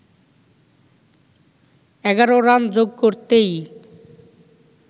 ১১ run যোগ করতেই